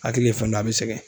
Hakili ye fɛn dɔ ye a bɛ sɛgɛn.